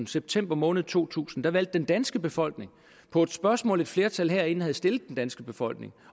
september måned to tusind valgte den danske befolkning på et spørgsmål et flertal herinde havde stillet den danske befolkning